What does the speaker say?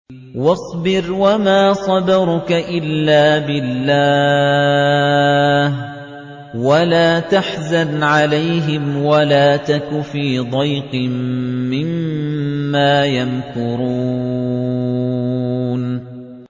وَاصْبِرْ وَمَا صَبْرُكَ إِلَّا بِاللَّهِ ۚ وَلَا تَحْزَنْ عَلَيْهِمْ وَلَا تَكُ فِي ضَيْقٍ مِّمَّا يَمْكُرُونَ